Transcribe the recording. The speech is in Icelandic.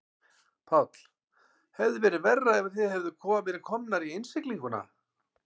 Páll: Hefði verið verra ef þið hefðuð verið komnir í innsiglinguna?